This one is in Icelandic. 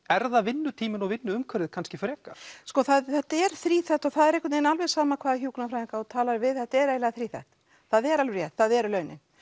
er það vinnutíminn og vinnuumhverfið kannski frekar sko þetta er þríþætt og það er einhvern veginn alveg sama hvaða hjúkrunarfræðinga þú talar við þetta er eiginlega þríþætt það er alveg rétt það eru launin